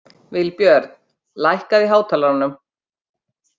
Vilbjörn, lækkaðu í hátalaranum.